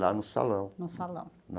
Lá no salão, na.